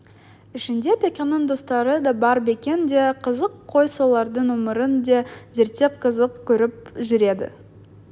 ішінде бекеннің достары да бар бекен де қызық қой солардың өмірін де зерттеп қызық көріп жүреді